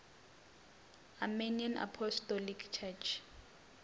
armenian apostolic church